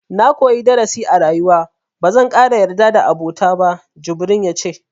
Na koyi darasi a rayuwa, ba zan ƙara yarda da abota ba, jibrin ya ce.